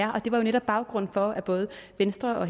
er det var jo netop baggrunden for at både venstre og